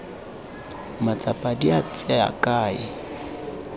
matsapa di a tsaya kae